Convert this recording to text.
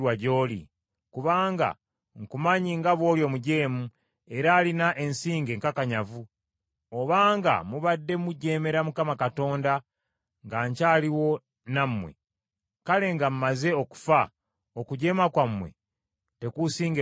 Kubanga nkumanyi nga bw’oli omujeemu era alina ensingo enkakanyavu. Obanga mubadde mujeemera Mukama Katonda nga nkyaliwo nammwe, kale nga mmaze okufa okujeema kwammwe tekuusingewo nnyo!